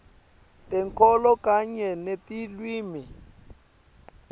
tenkholo kanye netilwimi